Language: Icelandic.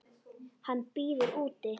Hann bíður úti.